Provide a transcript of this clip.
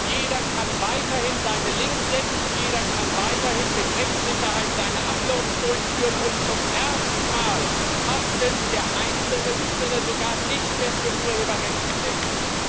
Jeder kann weiterhin seine Links setzen, jeder kann weiterhin mit Rechtssicherheit seine Uploads durchführen, und zum ersten Mal haftet der Einzelne sogar nicht mehr für Urheberrechtsverletzung.